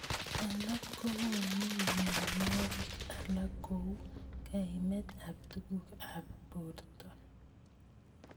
Alak kokonu mnyenwokik alak kou kaimet ab tukuk ab borto.